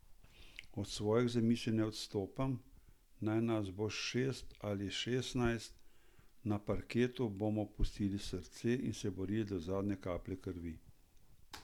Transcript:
Od svojih zamisli ne odstopam, naj nas bo šest ali šestnajst, na parketu bomo pustili srce in se borili do zadnje kaplje krvi.